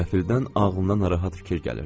Qəfildən ağlına narahat fikir gəlirdi.